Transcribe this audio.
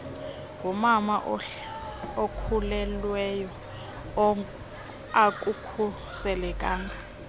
ngumama okhulelweyo akukhuselekanga